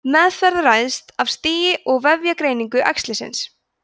meðferð ræðst af stigi og vefjagreiningu æxlisins